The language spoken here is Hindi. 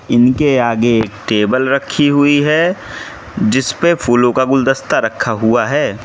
इनके आगे एक टेबल रखी हुई है जिसपे फूलों का गुलदस्ता रखा हुआ है।